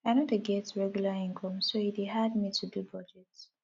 i no dey get regular income so e dey hard me to do budget